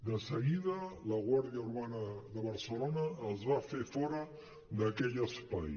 de seguida la guàrdia urbana de barcelona els va fer fora d’aquell espai